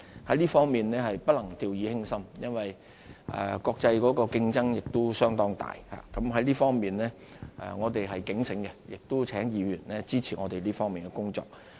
在這方面是不能掉以輕心，因為國際的競爭相當大，在這方面我們是警醒的，亦請議員支持我們這方面的工作。